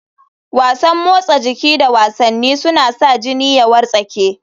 Wasan motsa jiki da wasanni suna sa jini ya wartsake.